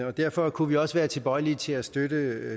og derfor kunne vi også være tilbøjelige til at støtte